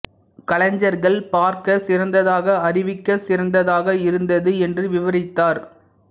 கலைஞர்கள் பார்க்க சிறந்ததாக அறிவிக்க சிறந்ததாக இருந்தது என்று விவரித்தார்